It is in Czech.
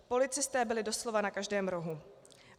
Policisté byli doslova na každém rohu.